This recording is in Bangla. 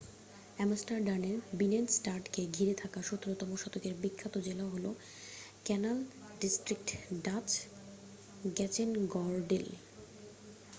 আমস্টারডামের বিনেনস্টাডকে ঘিরে থাকা ১৭তম শতকের বিখ্যাত জেলা হল ক্যানাল ডিস্ট্রিক্ট ডাচ: গ্র্যাচেনগর্ডেল।